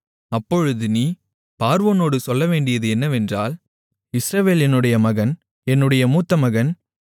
அப்பொழுது நீ பார்வோனோடு சொல்லவேண்டியது என்னவென்றால் இஸ்ரவேல் என்னுடைய மகன் என்னுடைய மூத்தமகன்